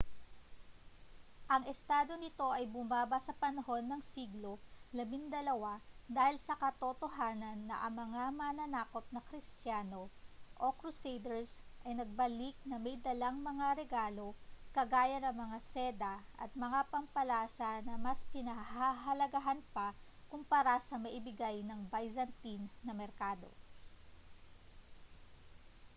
ang estado nito ay bumaba sa panahon ng siglo labindalawa dahil sa katotohanan na ang mga mananakop na kristiyano o crusaders ay nagbalik na may dalang mga regalo kagaya ng mga seda at mga pampalasa na mas pinahahalagahan pa kumpara sa maibigay ng byzantine na merkado